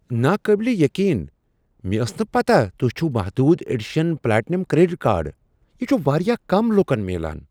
ناقابل یقین! مےٚ ٲس نہٕ پتاہ توہہِ چھوٗو محدود ایڈیشن پلاٹینم کریڈٹ کارڈ ۔ یہِ چھٗ وارِیاہ كم لوكن میلان ۔